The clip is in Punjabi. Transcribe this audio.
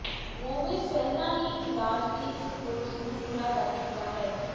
ਗੋਮੇਜ਼ ਪਹਿਲਾਂ ਹੀ ਇਲਾਜ ਦੇ ਇੱਕ ਕੋਰਸ ਨੂੰ ਪੂਰਾ ਕਰ ਚੁੱਕਾ ਹੈ